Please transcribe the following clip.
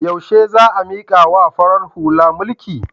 Yaushe za a mikawa farar hula mulki?